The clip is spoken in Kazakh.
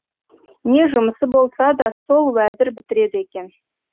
не жұмысы болса да сол уәзір бітіреді екен